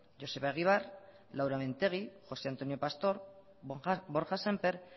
joseba egibar laura mintegi jose antonio pastor borja sémper